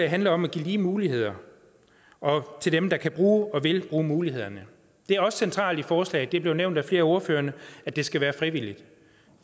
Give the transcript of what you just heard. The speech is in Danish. handler om at give lige muligheder til dem der kan bruge og vil bruge mulighederne det er også centralt i forslaget det er blevet nævnt af flere af ordførerne at det skal være frivilligt